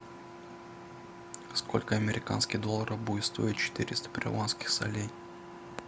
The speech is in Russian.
сколько американских долларов будет стоить четыреста перуанских солей